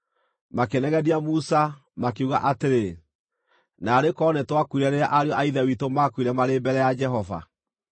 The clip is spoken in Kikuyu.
Makĩnegenia Musa, makiuga atĩrĩ, “Naarĩ korwo nĩtwakuire rĩrĩa ariũ a ithe witũ maakuire marĩ mbere ya Jehova!